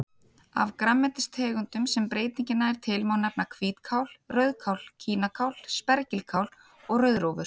Af grænmetistegundum sem breytingin nær til má nefna hvítkál, rauðkál, kínakál, spergilkál og rauðrófur.